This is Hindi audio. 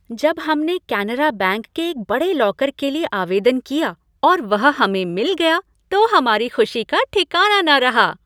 जब हमने केनरा बैंक में एक बड़े लॉकर के लिए आवेदन किया और वह हमें मिला गया तो हमारी खुशी का ठिकाना न रहा।